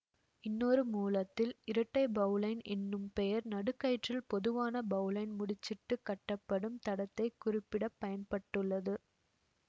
இன்னொரு மூலத்தில் இரட்டை பௌலைன் என்னும் பெயர் நடுக்கயிற்றில் பொதுவான பௌலைன் முடிச்சிட்டுக் கட்டப்படும் தடத்தைக் குறிப்பிட பயன் பட்டுள்ளது